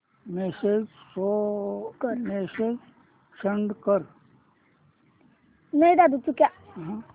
message send कर